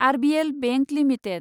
RBL bank limited